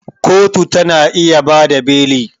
Kotu ta na iya ba da beli